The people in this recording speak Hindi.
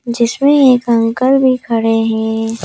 जिसमें एक अंकल भी खड़े हैं।